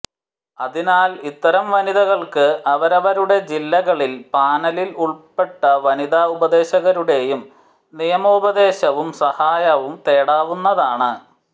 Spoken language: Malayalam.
അതിനാൽ ഇത്തരം വനിതകൾക്ക് അവരവരുടെ ജില്ലകളിലെ പാനലിൽ ഉൾപ്പെട്ട വനിതാ ഉപദേശകരുടെ നിയമോപദേശവും സഹായവും തേടാവുന്നതാണ്